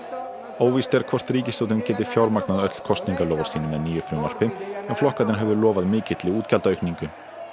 óvíst er hvort ríkisstjórnin geti fjármagnað öll kosningaloforð sín með nýju frumvarpi en flokkarnir höfðu lofað mikilli útgjaldaaukningu